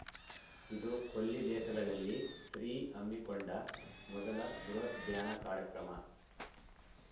ಇದು ಕೊಲ್ಲಿ ದೇಶಗಳಲ್ಲಿ ಶ್ರೀ ಹಮ್ಮಿಕೊಂಡ ಮೊದಲ ಬೃಹತ್‌ ಧ್ಯಾನ ಕಾರ್ಯಕ್ರಮ